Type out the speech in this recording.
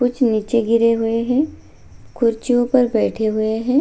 कुछ नीचे गिरे हुए है कुर्सियों पर बैठे हुए है।